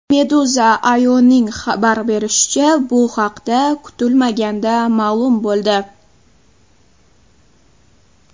Meduza.io‘ning xabar berishicha , bu haqda kutilmaganda ma’lum bo‘ldi.